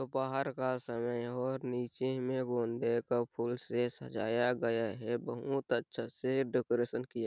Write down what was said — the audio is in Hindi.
दोपहर का समय है और नीचे मै गोंडे का फुल से सजाया गया है बहुत अच्छे से डेकोरेशन किया --